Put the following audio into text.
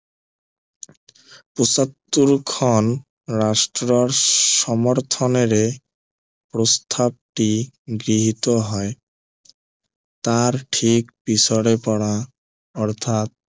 পয়সত্তৰ খন ৰাষ্ট্ৰৰ সমৰ্থনেৰে প্ৰস্তাৱটি গৃহীত হয় তাৰ ঠিক পিছৰে পৰা অৰ্থাৎ